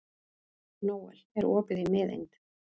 Nóel, er opið í Miðeind?